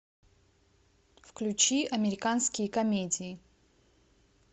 включи американские комедии